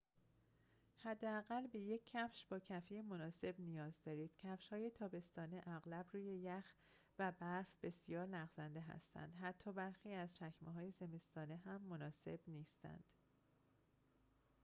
حداقل به یک کفش با کفی مناسب نیاز دارید کفش‌های تابستانه اغلب روی یخ و برف بسیار لغزنده هستند حتی برخی از چکمه‌های زمستانه هم مناسب نیستند